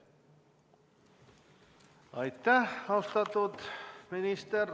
Aitäh, austatud minister!